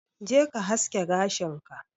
je ka haske gashin ka.